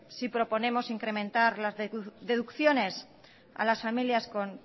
sí proponemos incrementar las deducciones a las familias con